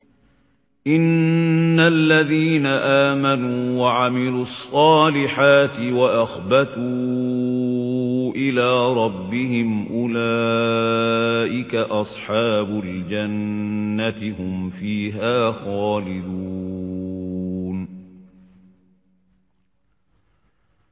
إِنَّ الَّذِينَ آمَنُوا وَعَمِلُوا الصَّالِحَاتِ وَأَخْبَتُوا إِلَىٰ رَبِّهِمْ أُولَٰئِكَ أَصْحَابُ الْجَنَّةِ ۖ هُمْ فِيهَا خَالِدُونَ